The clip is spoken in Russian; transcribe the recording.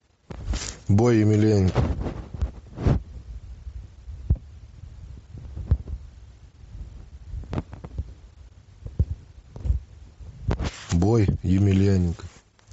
бой емельяненко бой емельяненко